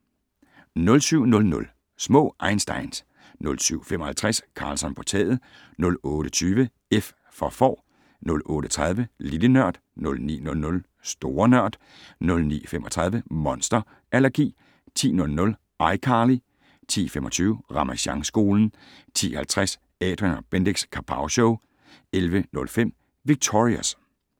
07:00: Små einsteins 07:55: Karlsson på taget 08:20: F for Får 08:30: Lille Nørd 09:00: Store Nørd 09:35: Monster allergi 10:00: iCarly 10:25: Ramasjangskolen 10:50: Adrian & Bendix Kapowshow 11:05: Victorious